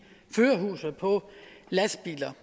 førerhuset på lastbiler